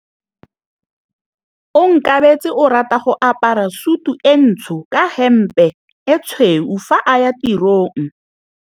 Onkabetse o rata go apara sutu e ntsho ka hempe e tshweu fa a ya tirong.